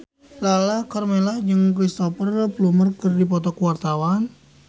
Lala Karmela jeung Cristhoper Plumer keur dipoto ku wartawan